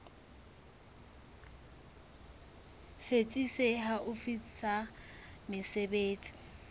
setsi se haufi sa mesebetsi